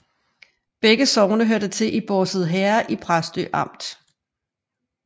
Begge sogne hørte til Bårse Herred i Præstø Amt